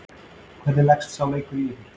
Hvernig leggst sá leikur í ykkur?